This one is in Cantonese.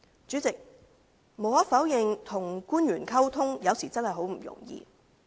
主席，無可否認，跟官員溝通，有時真的十分不容易。